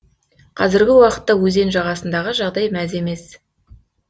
қазіргі уақытта өзен жағасындағы жағдай мәз емес